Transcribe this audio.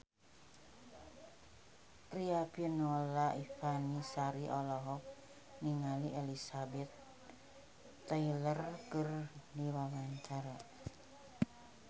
Riafinola Ifani Sari olohok ningali Elizabeth Taylor keur diwawancara